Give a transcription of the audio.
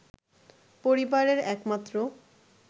পরিবারের এক মাত্র